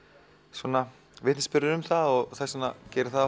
svona vitnisburður um það og þess vegna gerir það